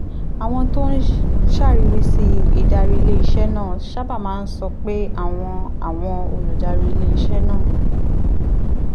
àwọn tó ń ṣàríwísí ìdarí ilé-iṣẹ́ náà sábà máa ń sọ pé àwọn àwọn olùdarí ilé-iṣẹ́ náà